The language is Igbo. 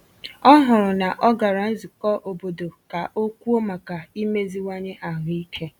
Ọ hụrụ na ọ gara nzụkọ obodo ka ọ kwùo maka imeziwanye ahụike.